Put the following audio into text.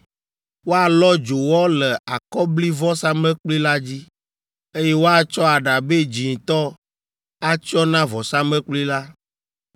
“Woalɔ dzowɔ le akɔblivɔsamlekpui la dzi, eye woatsɔ aɖabɛ dzĩtɔ atsyɔ na vɔsamlekpui la.